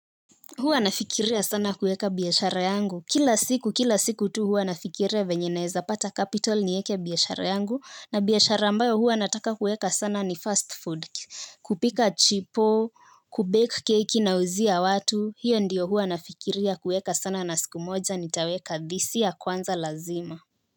Huwa nafikiria sana kueka biashara yangu. Kila siku, kila siku tu huwa nafikiria venye naeza pata capital nieke biashara yangu. Na biashara ambayo huwa nataka kuweka sana ni fast food. Kupika chipo, kubake keki nauzia watu. Hiyo ndiyo huwa nafikiria kuweka sana na siku moja ni taweka this year kwanza lazima.